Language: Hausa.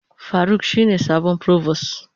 Faruk shine sabon provost.